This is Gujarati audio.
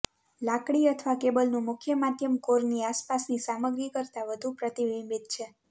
લાકડી અથવા કેબલનું મુખ્ય માધ્યમ કોરની આસપાસની સામગ્રી કરતાં વધુ પ્રતિબિંબીત છે